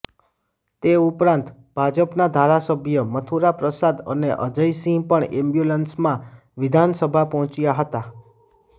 તે ઉપરાંત ભાજપના ધારાસભ્ય મથુરાપ્રસાદ અને અજય સિંહ પણ એમ્બ્યુલન્સમાં વિધાનસભા પહોંચ્યાં હતાં